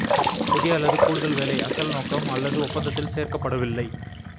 புதிய அல்லது கூடுதல் வேலை அசல் நோக்கம் அல்லது ஒப்பந்தத்தில் சேர்க்கப்படவில்லை